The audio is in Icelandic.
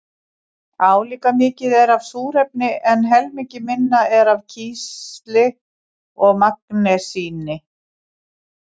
Álíka mikið er af súrefni en helmingi minna er af kísli og magnesíni.